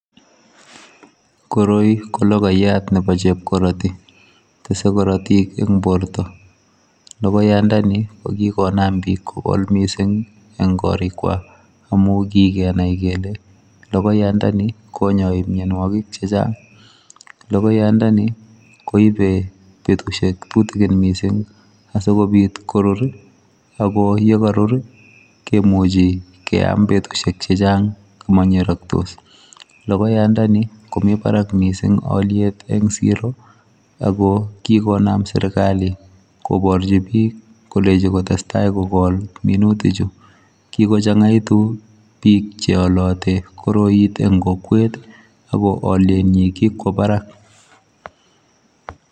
Koroi kologoyatnebo chepkoroti tese korotik eng borto logoyandoni kokikonam bik kokol mising eng korikwak amu kikenai kele logoyandonimkonyai mianwokik chechang logoyandoni koibe betusiek tutigin mising asikobit korur akoyekarur kemuchi keam betusiek chechang akomanyeraktos logoyandani komi barak mising oliet eng siro akokikonam serikali koborchi bik kolechi kotestai kokol minutichu kikochangaitu bik cheoloti koroit eng kokwet ako olietnyi kikwo barak.